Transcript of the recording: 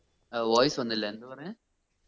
ഏർ voice വന്നില്ല എന്താ പറഞ്ഞെ